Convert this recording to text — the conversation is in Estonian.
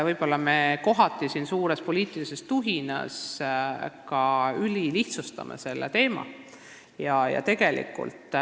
Võib-olla me siin suures poliitilises tuhinas kohati ülilihtsustame seda teemat.